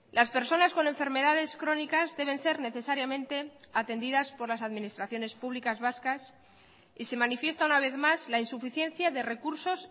las personas con enfermedades crónicas deben ser necesariamente atendidas por las administraciones públicas vascas y se manifiesta una vez más la insuficiencia de recursos